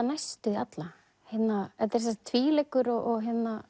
næstum því alla þetta er tvíleikur og